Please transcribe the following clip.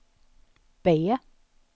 B